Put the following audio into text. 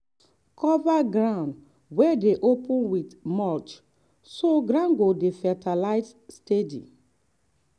cover ground wey dey open with mulch so ground go dey fertile steady.